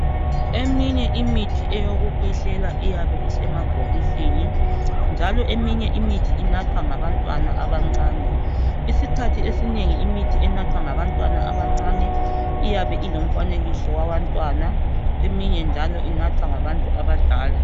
Eyinye imithi yokukhwehlela iyabe isemabhokisini njalo eminye imithi inathwa ngabantwana abancane. Isikhathi esinengi imithi enathwa ngabantwana abancane iyabe ilomfanekiso owabantwana eminye njalo inathwa ngabantu abadala